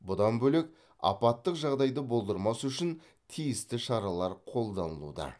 бұдан бөлек апаттық жағдайды болдырмас үшін тиісті шаралар қолданылуда